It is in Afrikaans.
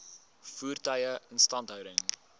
voertuie instandhouding